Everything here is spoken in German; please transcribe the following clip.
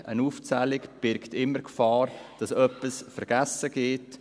Eine Aufzählung birgt immer die Gefahr, dass etwas vergessen geht.